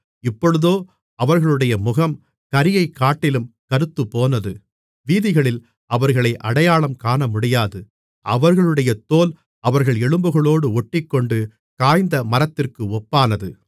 இப்பொழுதோ அவர்களுடைய முகம் கரியைக்காட்டிலும் கறுத்துப்போனது வீதிகளில் அவர்களை அடையாளம் காணமுடியாது அவர்களுடைய தோல் அவர்கள் எலும்புகளோடு ஒட்டிக்கொண்டு காய்ந்த மரத்திற்கு ஒப்பானது